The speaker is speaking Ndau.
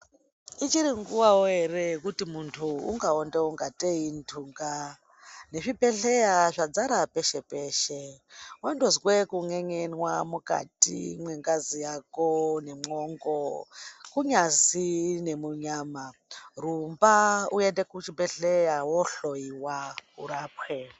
Ichiri ngiwawo ere yekuti munthu ungaonda ungatei indunga nezvibhedhleya zvadzara peshe peshe wandozwao kun'en'enwa mukati mwengazi nemwongo kunyazwi nemunyama rumba uende kuchibhedhleya wohloyiwa urapwe.